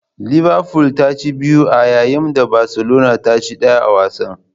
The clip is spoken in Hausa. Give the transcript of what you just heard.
Liverful ta ci biyu a yayin da Barcelona ta ci daya a wasan.